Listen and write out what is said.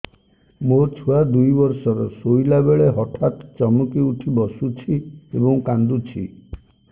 ମୋ ଛୁଆ ଦୁଇ ବର୍ଷର ଶୋଇଲା ବେଳେ ହଠାତ୍ ଚମକି ଉଠି ବସୁଛି ଏବଂ କାଂଦୁଛି